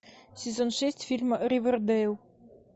сезон шесть фильма ривердейл